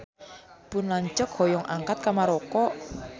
Pun lanceuk hoyong angkat ka Maroko